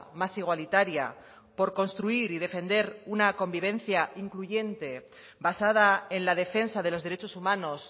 más igualitaria por construir y defender una convivencia incluyente basada en la defensa de los derechos humanos